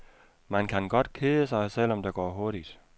Man kan godt kede sig, selv om det går hurtigt.